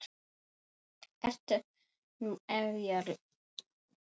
Enda ert þú ofjarl minn.